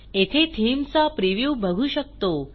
येथे थीम चा प्रिव्ह्यू बघू शकतो